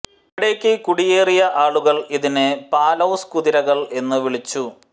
ഇവിടേയ്ക്ക് കുടിയേറിയ ആളുകൾ ഇതിനെ പാലൌസ് കുതിരകൾ എന്ന് വിളിച്ചു